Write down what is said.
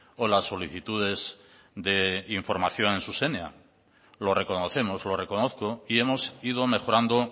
o las solicitudes de información en zuzenean lo reconocemos lo reconozco y hemos ido mejorando